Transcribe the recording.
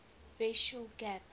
racial gap